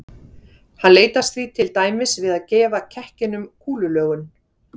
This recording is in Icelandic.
Hann leitast því til dæmis við að gefa kekkinum kúlulögun.